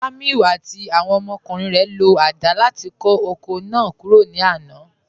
Jàmíù àti awọn ọmọkùnrin rẹ ló awọn gilaasì láti kọ oko náà kúrò ní àná.